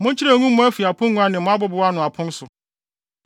Monkyerɛw ngu mo afi apongua ne mo abobow ano apon so.